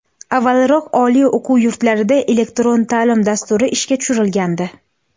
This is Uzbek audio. Avvalroq oliy o‘quv yurtlarida elektron ta’lim dasturi ishga tushirilgandi.